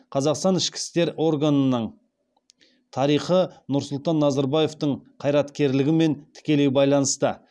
қазақстан ішкі істер органының тарихы нұрсұлтан назарбаевтың қайраткерлігімен тікелей байланысты